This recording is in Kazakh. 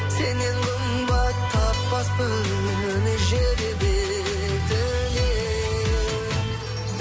сеннен қымбат таппаспын жер бетінен